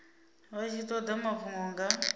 vha tshi toda mafhungo nga